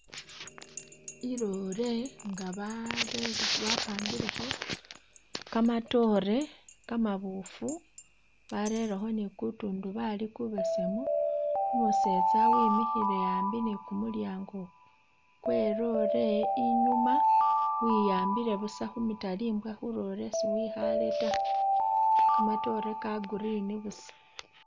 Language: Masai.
I lorry nga ba pangilekho kamatoore kamabuufu barerekho ni ku tundubali kubesemu, umusetsa wimikhile ambi ni kumulyango kwe lorry inyuma wiyambile busa khumitalimbwa khu lorry si wikhale ta, kamatoore ka green busa.